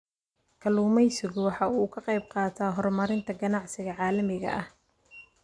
Kalluumaysigu waxa uu ka qayb qaataa horumarinta ganacsiga caalamiga ah.